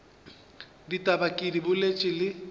ditaba ke di boletše le